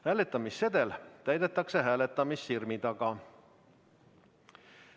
Hääletamissedel täidetakse hääletamissirmi taga.